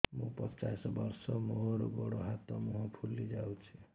ମୁ ପଚାଶ ବର୍ଷ ମୋର ଗୋଡ ହାତ ମୁହଁ ଫୁଲି ଯାଉଛି